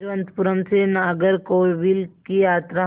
तिरुवनंतपुरम से नागरकोविल की यात्रा